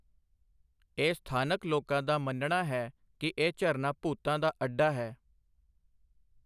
ਇਹ ਸਥਾਨਕ ਲੋਕਾਂ ਦਾ ਮੰਨਣਾ ਹੈ ਕਿ ਇਹ ਝਰਨਾ ਭੂਤਾਂ ਦਾ ਅੱਡਾ ਹੈ।